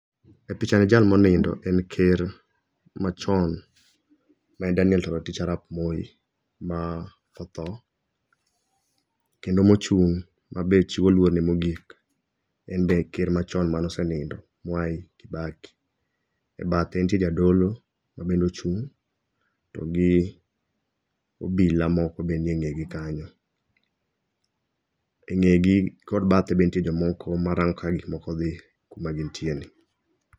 E pichani jal monindo en ker machon ma en Daniel Toroitich Aarap Moi ma oth. Kendo mochung' mabe chiwo luorne mogik, en be ker machon mane osenindo Mwai Kibaki. E bathe nitie jadolo ma bende ochung' to gi obila moko be nie ng'egi kanyo. Eng'egi kod bathe be ntie jomoko marango kaka gikmoko dhi kuma gintie ni.